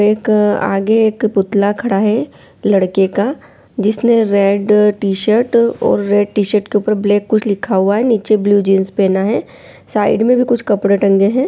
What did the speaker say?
एक आगे एक पुतला खड़ा है लड़के का जिसने रेड टी-शर्ट और रेड टी-शर्ट के ऊपर ब्लैक कुछ लिखा हुवा है नीचे ब्लू जिन्स पेहना है साइड मे भी कुछ कपड़े टंगे है।